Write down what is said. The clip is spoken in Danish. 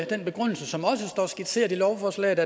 den begrundelse som også står skitseret i lovforslaget